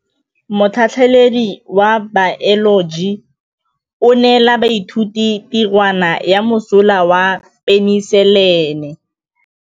Motlhatlhaledi wa baeloji o neela baithuti tirwana ya mosola wa peniselene.